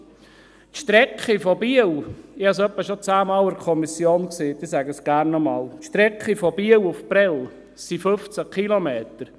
Die Strecke von Biel nach Prêles – ich habe es etwa schon zehnmal in der Kommission gesagt, ich sage es gerne noch einmal – beträgt 15 Kilometer.